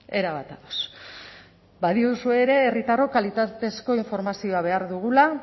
erabat ados badiozue ere herritarrok kalitatezko informazioa behar dugula